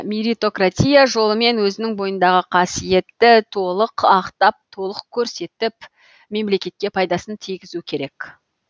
мерритократия жолымен өзінің бойындағы қасиетті толық ақтап толық көрсетіп мемлекетке пайдасын тигізу керек